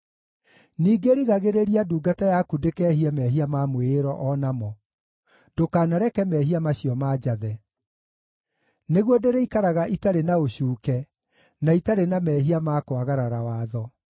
Ningĩ rigagĩrĩria ndungata yaku ndĩkeehie mehia ma mwĩĩro o namo; ndũkanareke mehia macio manjathe. Nĩguo ndĩrĩikaraga itarĩ na ũcuuke, na itarĩ na mehia ma kwagarara watho.